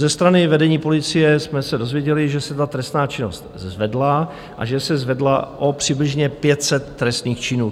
Ze strany vedení policie jsme se dozvěděli, že se ta trestná činnost zvedla a že se zvedla přibližně o 500 trestných činů.